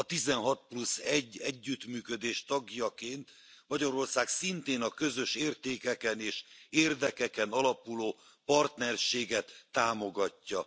A tizenhat plusz egy együttműködés tagjaként Magyarország szintén a közös értékeken és érdekeken alapuló partnerséget támogatja.